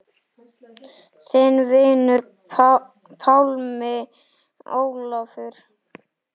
Þinn vinur, Pálmi Ólafur.